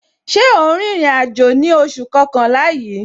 Ṣé o ń rìnrìn àjò ní oṣù kọkànlá yìí?